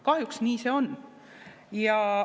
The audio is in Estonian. Kahjuks nii see on.